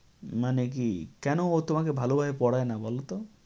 মানে কী, কেন ও তোমাকে ভালোভাবে পড়ায় না বলত?